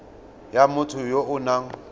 ya motho ya o nang